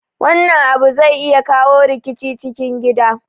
Wannan abu zai iya kawo rikici a cikin gida